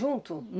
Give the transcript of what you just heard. Junto?